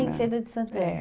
em Feira de Santana. É